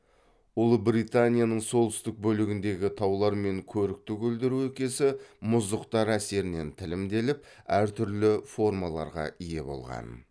ұлыбританияның солтүстік бөлігіндегі таулар мен көрікті көлдер өлкесі мұздықтар әсерінен тілімделіп әр түрлі формаларға ие болған